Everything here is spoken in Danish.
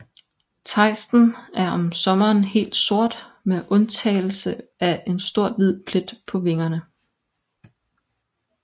Tejsten er om sommeren helt sort med undtagelse af en stor hvid plet på vingerne